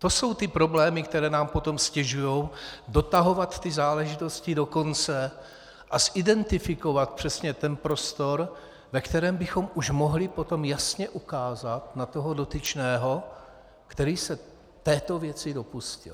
To jsou ty problémy, které nám potom ztěžují dotahovat ty záležitosti do konce a identifikovat přesně ten prostor, ve kterém bychom už mohli potom jasně ukázat na toho dotyčného, který se této věci dopustil.